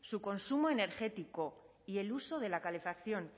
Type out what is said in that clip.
su consumo energético y el uso de la calefacción